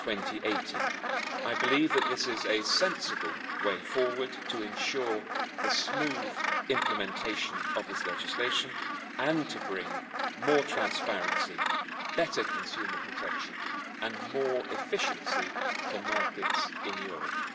2018. I believe that this is a sensible way forward to ensure the smooth implementation of this legislation and to bring more transparency, better consumer protection and more efficiency to markets in Europe.